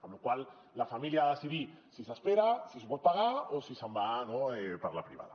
amb la qual cosa la família ha de decidir si s’espera si s’ho pot pagar o si se’n va per la privada